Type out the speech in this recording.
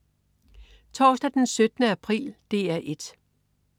Torsdag den 17. april - DR 1: